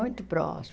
Muito próxima.